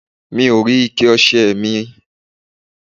Mi ò rí ike ọṣẹ ẹ̀ mi.